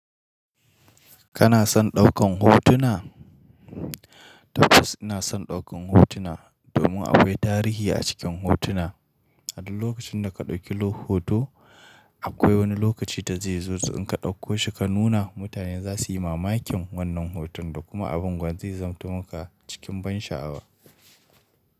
Kana son ɗaukan hotuna? Tabbas ina son ɗaukan hotuna domin akwai tarihi a cikin hotuna. A duk lokacin da ka ɗauki hoto akwai wani lokaci da zai zo in ka ɗauko shi ka nuna mutane zasuyi mamakin wannan hoton da kuma abin gwan zai zamanti maka cikin ban sha'awa.